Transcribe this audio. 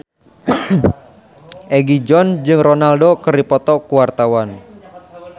Egi John jeung Ronaldo keur dipoto ku wartawan